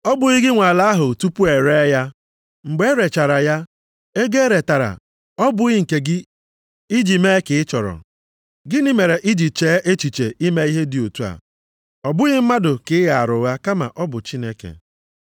Ọ bụghị gị nwe ala ahụ tupu e ree ya? Mgbe e rechara ya, ego e retara ya ọ bụghị nke gị, iji mee ka ị chọrọ? Gịnị mere i ji chee echiche ime ihe dị otu a? Ọ bụghị mmadụ ka ị ghaara ụgha kama ọ bụ Chineke.”